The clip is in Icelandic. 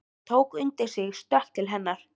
Hann tók undir sig stökk til hennar.